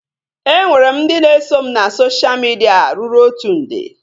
E nwere m ndị na eso m na sosha midia ruru otu nde